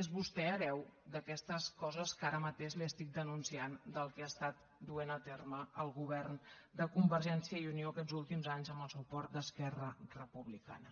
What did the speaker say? és vostè hereu d’aquestes coses que ara mateix li estic denunciant del que ha estat duent a terme el govern de convergència i unió aquests últims anys amb el suport d’esquerra republicana